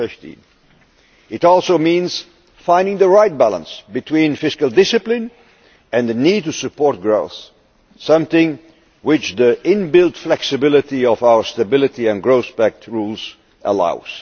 by 2015. It also means finding the right balance between fiscal discipline and the need to support growth something which the inbuilt flexibility of our Stability and Growth Pact rules allows.